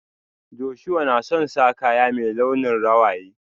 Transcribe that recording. Joshua na son sa kaya mai launin rawaye.